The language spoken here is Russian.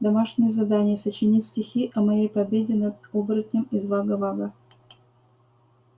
домашнее задание сочинить стихи о моей победе над оборотнем из вага-вага